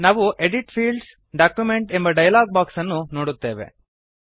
ನಾವು edit Fields document ಎಂಬ dialog box ಅನ್ನು ನೋಡುತ್ತೇವೆ